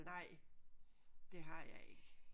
Nej det har jeg ikke